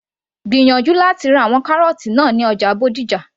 gbìyànjú láti ra àwọn kárọ́ọ́tì náà ní ọjà Bódìjà